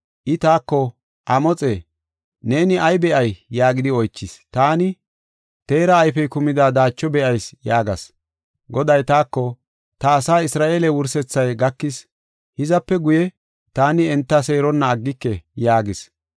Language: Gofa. I taako, “Amoxe, neeni ay be7ay?” yaagidi oychis. Taani, “Teera ayfey kumida daacho be7ayis” yaagas. Goday taako, “Ta asaa Isra7eele wursethay gakis; hizape guye taani enta seeronna aggike” yaagis.